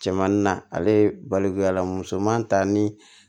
Cɛmanin na ale ye balikuya musoman ta ni